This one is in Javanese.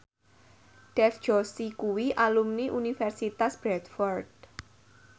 Dev Joshi kuwi alumni Universitas Bradford